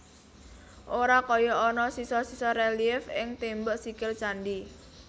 Ora kaya ana sisa sisa rélièf ing tembok sikil candhi